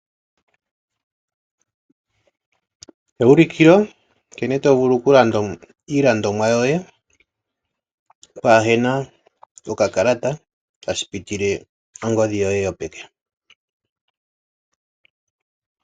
Eulikilo lya nkene to vulu okulanda iilandomwa yoye pwaahena okakalata tashi pitile pangodhi yoye yopeke.